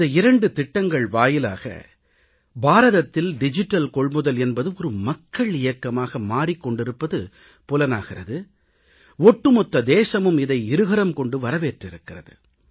இந்த இரண்டு திட்டங்கள் வாயிலாக பாரதத்தில் டிஜிட்டல் கொள்முதல் என்பது ஒரு மக்கள் இயக்கமாக மாறிக் கொண்டிருப்பது புலனாகிறது ஒட்டுமொத்த தேசமும் இதை இருகரம் கொண்டு வரவேற்றிருக்கிறது